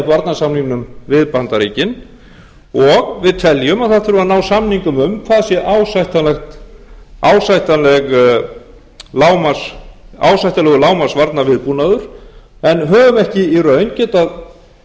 varnarsamningnum við bandaríkin og við teljum að það þurfi að ná samningum um hvað sé ásættanlegur lágmarks varnarviðbúnaður en höfum ekki í raun getað séð